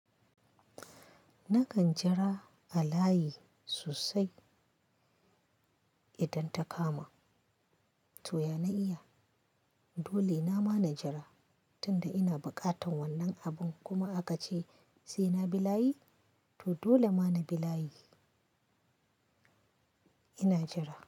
Nakan jira a layi sosai idan ta kama to ya na iya dole nama na jira tunda ina buƙatan wannan abun kuma aka ce sai na bi layi to dole ma na bi layi ina jira.